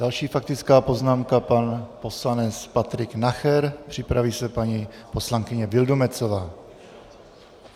Další faktická poznámka pan poslanec Patrik Nacher, připraví se paní poslankyně Vildumetzová.